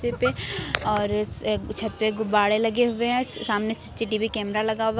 और छत पे गुब्बाड़े लगे हुए हैं सामने सी_सी_टी_वी कैमरा लगा हुआ है।